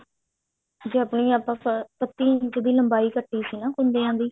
ਜੇ ਆਪਣੀ ਆਪਾਂ ਬੱਤੀ ਇੰਚ ਦੀ ਲੰਬਾਈ ਕੱਟੀ ਸੀ ਨਾ ਕੁੰਡੀਆਂ ਦੀ